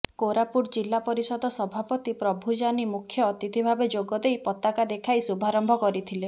କୋରାପୁଟ ଜିଲ୍ଲାପରିଷଦ ସଭାପତି ପ୍ରଭୁ ଜାନି ମୁଖ୍ୟ ଅତିଥିଭାବେ ଯୋଗଦେଇ ପତାକା ଦେଖାଇ ଶୁଭାରମ୍ଭ କରିଥିଲେ